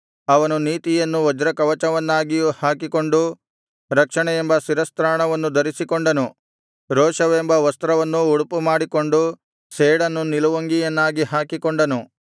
ಅವನು ನೀತಿಯನ್ನು ವಜ್ರಕವಚವನ್ನಾಗಿ ಹಾಕಿಕೊಂಡು ರಕ್ಷಣೆಯೆಂಬ ಶಿರಸ್ತ್ರಾಣವನ್ನು ಧರಿಸಿಕೊಂಡನು ರೋಷವೆಂಬ ವಸ್ತ್ರವನ್ನು ಉಡುಪುಮಾಡಿಕೊಂಡು ಸೇಡನ್ನು ನಿಲುವಂಗಿಯನ್ನಾಗಿ ಹಾಕಿಕೊಂಡನು